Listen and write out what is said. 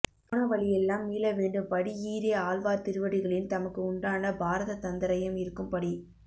போன வழி எல்லாம் மீள வேண்டும் படி இ றே ஆழ்வார் திருவடிகளில் தமக்கு உண்டான பாரதந்த்ர்யம் இருக்கும் படி